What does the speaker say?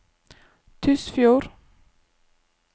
Tysfjord